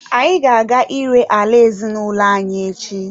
Anyị ga-aga ire ala ezinụlọ anyi echi.